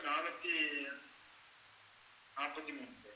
நானூத்தி நாப்பத்தி மூணு